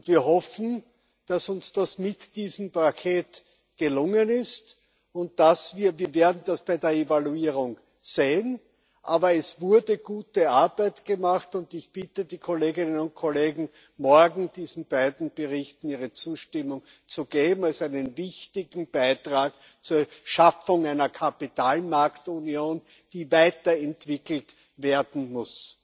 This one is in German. Wir hoffen, dass uns das mit diesem Paket gelungen ist, und wir werden das bei der Evaluierung sehen. Aber es wurde gute Arbeit gemacht, und ich bitte die Kolleginnen und Kollegen, morgen diesen beiden Berichten ihre Zustimmung zu geben, als einem wichtigen Beitrag zur Schaffung einer Kapitalmarktunion, die weiterentwickelt werden muss.